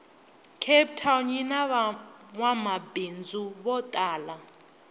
cape town yinavangwamabhindzu votala